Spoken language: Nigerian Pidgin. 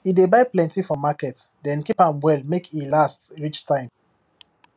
e dey buy plenty from market then keep am well make e last reach time